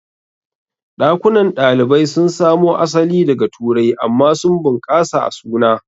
Ɗakunan kwanan ɗalibai sun samo asali daga Turai amma sun bunƙasa a suna.